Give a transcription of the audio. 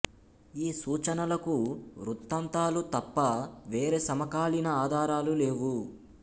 ఈ సూచనలకు వృత్తాంతాలు తప్ప వేరే సమకాలీన ఆధారాలు లేవు